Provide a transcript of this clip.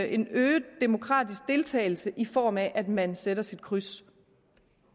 en øget demokratisk deltagelse i form af at man sætter sit kryds